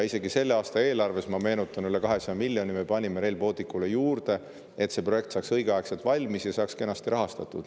Isegi selle aasta eelarves, ma meenutan, me panime üle 200 miljoni Rail Balticule juurde, et see projekt saaks õigeaegselt valmis ja kenasti rahastatud.